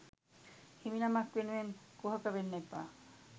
හිමිනමක් වෙනුවෙන් කුහකවෙන්න එපා